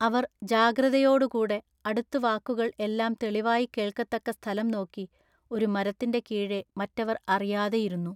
അവർ ജാഗ്രതയോടു കൂടെ അടുത്തു വാക്കുകൾ എല്ലാം തെളിവായി കേൾക്കത്തക്ക സ്ഥലം നോക്കി ഒരു മരത്തിൻ്റെ കീഴെ മറ്റവർ അറിയാതെ ഇരുന്നു.